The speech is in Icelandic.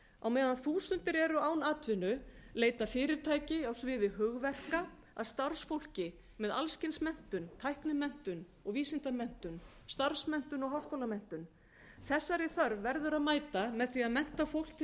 á meðan þúsundir eru án atvinnu leita fyrirtæki á sviði hugverka að starfsfólki með alls kyns menntun tæknimenntun og vísindamenntun starfsmenntun og háskólamenntun þessari þörf verður að mæta með því að mennta fólk til